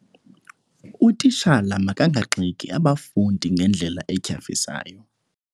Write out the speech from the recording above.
Utitshala makangagxeki abafundi ngendlela etyhafisayo.